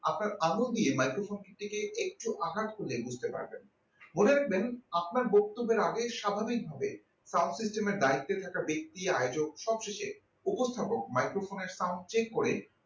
আপনার আঙুল দিয়ে microphone টিকে একটু আঘাত করলে বুঝতে পারবেন মনে রাখবেন আপনার বক্তব্যের আগে স্বাভাবিকভাবে sub system এ direkte এ ব্যাক্তি আয়োজক সবশেষে উপস্থাপক microphone এর sound check করে